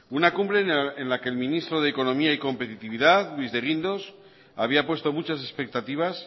una cumbre en la que el ministro de economía y competitividad luis de guindos había puesto muchas expectativas